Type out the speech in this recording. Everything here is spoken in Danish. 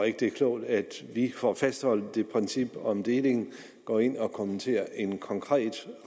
ikke det er klogt at vi lige for at fastholde det princip om delingen går ind og kommenterer en konkret